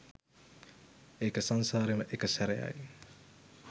ඒක සංසාරෙම එක සැරයයි